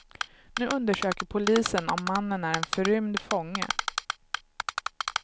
Nu undersöker polisen om mannen är en förrymd fånge.